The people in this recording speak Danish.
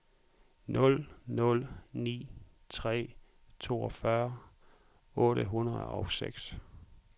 nul nul ni tre toogfyrre otte hundrede og seks